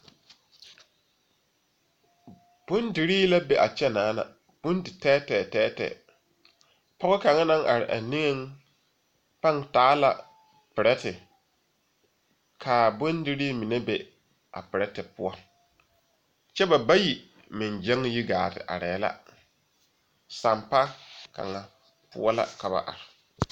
Bondire la be a kyɛ, bondi tɛtɛtɛɛ pɔge kaŋ naŋ are a niŋɛ paaŋ taa la pɛrɛɛtɛ, kaa bondiri mine be a pɛrɛɛtɛɛ poɔ, kyɛ ba bayi meŋ gyaŋ yi gaate are la, sampa kaŋa poɔ la ka ba are.